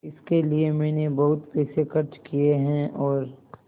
इसके लिए मैंने बहुत पैसे खर्च किए हैं और